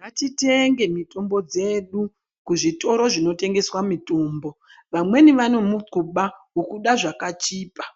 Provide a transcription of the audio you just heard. Ngatitenge mitombo dzedu kuzvitoro zvinotengeswa mutombo vamweni vane mukuba wokuda zvakachipa